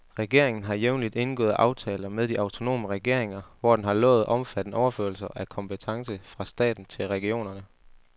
Regeringen har jævnligt indgået aftaler med de autonome regeringer, hvor den har lovet omfattende overførsler af kompetence fra staten til regionerne.